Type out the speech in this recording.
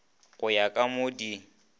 go ya ka mo di